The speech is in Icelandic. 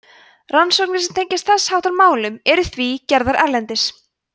rannsóknir sem tengjast þess háttar málum eru því gerðar erlendis